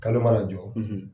Kalo mana jɔ